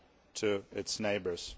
to its neighbours.